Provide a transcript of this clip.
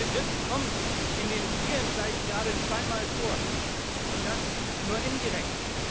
Der Begriff kommt in den vielen Seiten gerade zwei Mal vor, und das nur indirekt.